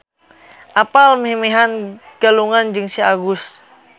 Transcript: Apan meh-mehan galungan jeung Si Agus.